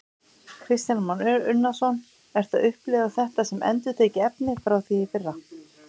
Kristján Már Unnarsson: Ertu að upplifa þetta sem endurtekið efni frá því í fyrra?